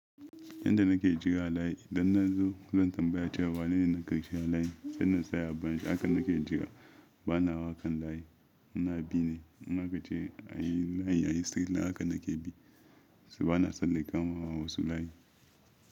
Yanda nake jira layi idan na zo zan tambaya cewa wanene na ƙarshen layi. Sai na tsaya a baya, haka nake jira, bana hawa kan layi. Muna bi ne. In akace a yi layi, a yi stret line haka nake bi. Su bana san na kamawa wasu layi.